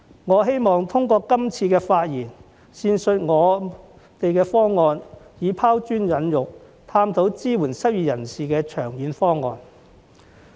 我希望通過今次發言闡述我們的方案，以拋磚引玉，探討支援失業人士的長遠方案。